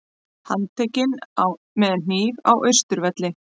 Handtekinn með hníf á Austurvelli